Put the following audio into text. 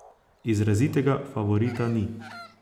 Izrazitega favorita ni.